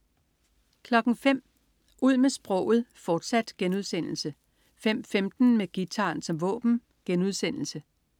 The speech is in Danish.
05.00 Ud med sproget, fortsat* 05.15 Med guitaren som våben*